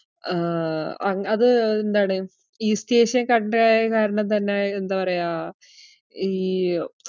ആഹ് അഹ് അത് എന്താണ് east ഏഷ്യൻ country യായ കാരണം തന്നെ എന്താ പറയ്യാ ഈ